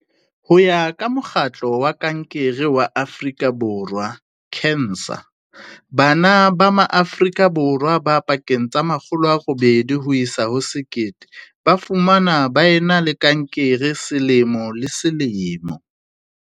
Ho ya ka Mokgatlo wa Kankere wa Afrika Borwa, CANSA, bana ba Maa frika Borwa ba pakeng tsa 800 ho isa ho 1 000 ba fumanwa ba e na le kankere selemo le selemo.